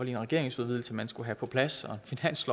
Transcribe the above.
en regeringsudvidelse man skulle have på plads